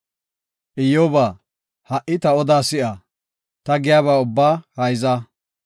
Iyyoba, ha77i ta odaa si7a; ta giyaba ubbaa hayza.